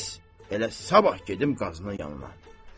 Bəs elə sabah gedim qazının yanına.